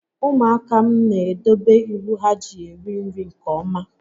Ụmụaka m n'edobe iwu ha ji eri nri nke ọma